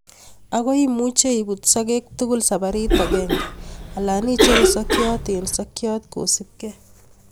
Ago imuche ibut sokek tuguk saparit agenge alan icheru sokyot en sokyot kosipkei.